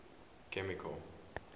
chemical